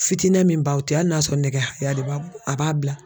Fitinɛn min b'aw cɛ hali n'a sɔrɔ nɛgɛ haya de b'a bolo a b'a bila.